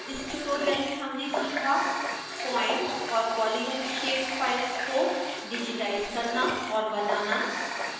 इस ट्यूटोरियल में हमने सीखा point और polygon shape फाइल्स को डिजिटाइज करना और बनाना